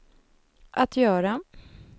att göra